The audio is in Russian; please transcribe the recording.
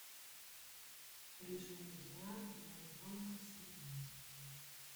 режим дня для ребенка семь месяцев